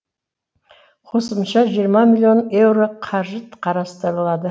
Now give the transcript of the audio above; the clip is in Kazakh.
қосымша жиырма миллион еуро қаржы қарастырылады